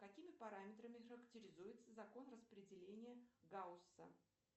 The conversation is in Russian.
какими параметрами характеризуется закон распределения гаусса